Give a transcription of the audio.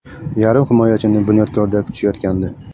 Yarim himoyachini “Bunyodkor”da kutishayotgandi.